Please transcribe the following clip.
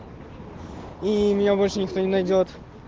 и меня больше никто не найдёт